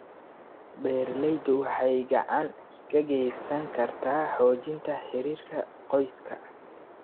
Beeralaydu waxay gacan ka geysan kartaa xoojinta xiriirka qoyska.